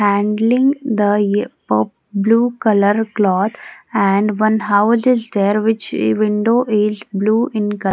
handling the Hip Hop blue colour cloth and one house is there which window is blue in col --